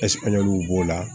b'o la